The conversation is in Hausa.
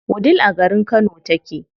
Wudil a garin Kano take.